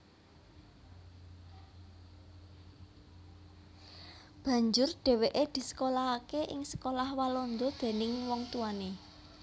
Banjur dhèwèké disekolahaké ing sekolah Walanda déning wong tuwané